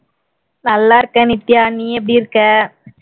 நல்லா இருக்கேன் நித்யா நீ எப்படி இருக்கே